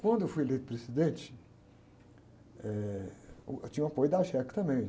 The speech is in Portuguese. Quando eu fui eleito presidente, eh, uh, eu tinha o apoio da também.